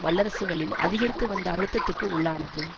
வல்லரசுகளின் அதிகரித்து வந்த அழுத்தத்துக்கு உள்ளானது